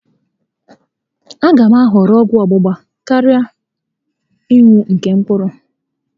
A gá m ahọrọ ọgwụ ọ́gbụgba karịa ịnụ nke mkpụrụ